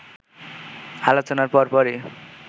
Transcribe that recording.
আলোচনার পরপরই